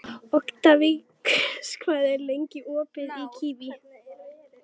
Oktavíus, hvað er lengi opið í Kvikk?